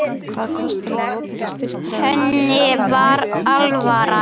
Henni var alvara.